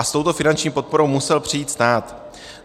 A s touto finanční podporou musel přijít stát.